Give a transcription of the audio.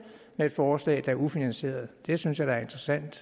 med et forslag der er ufinansieret det synes jeg da er interessant